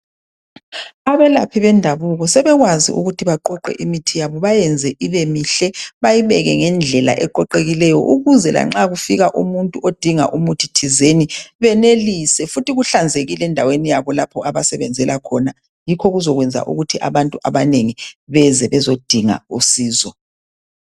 Abelaphi bendabuko sebekwazi ukuthi baqoqe imithi yabo bayenze ibemihle bayibeke ngendlela eqoqekiyo, ukuze lanxa kufika umuntu odinga umuthi thizeni benelise futhi kuhlanzekile endaweni yabo lapho abasebenzela khona, yikho okuzokwenza ukuthi abantu abanengi beze bezodinga usizo.